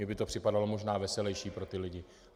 Mně by to připadalo možná veselejší pro ty lidi.